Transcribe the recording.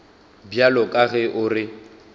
bjalo ka ge o re